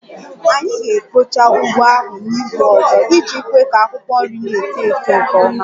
Anyị ga-ekpocha ugbo ahụ n'izu ọzọ iji kwe ka akwụkwọ nri na-eto eto nke ọma